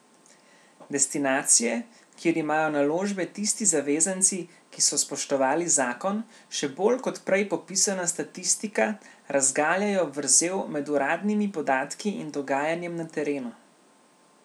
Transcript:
Destinacije, kjer imajo naložbe tisti zavezanci, ki so spoštovali zakon, še bolj kot prej popisana statistika razgaljajo vrzel med uradnimi podatki in dogajanjem na terenu.